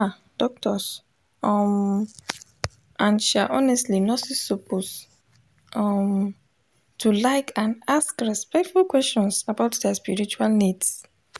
ah doctors um and um honestly nurses suppose um to like and ask respectful questions about dia spiritual needs